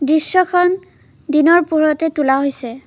দৃশ্যখন দিনৰ পোহৰতে তোলা হৈছে।